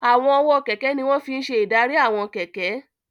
Àwọn ọwọ́ kẹ̀kẹ́ ní wọ́n fi n ṣe ìdarí àwọn kẹ̀kẹ́